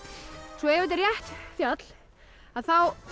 svo ef þetta er rétt fjall þá